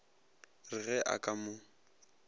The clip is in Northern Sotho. re ge a ka mo